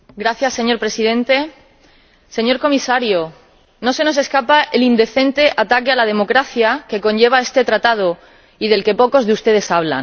Señor Presidente, Señor Comisario, no se nos escapa el indecente ataque a la democracia que conlleva este Acuerdo y del que pocos de ustedes hablan.